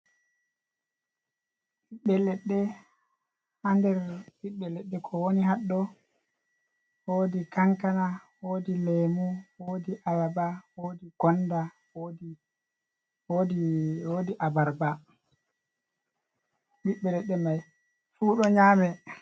Ɓiɓɓe leɗɗe ha nder ɓiɓɓe ledde ko woni ha do wodi kankana, wodi leemu, wodi abarba, wodi gonda, wodi abarba, ɓiɓɓe leɗɗe mai fu ɗo nyame.